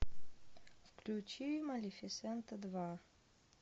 включи малифисента два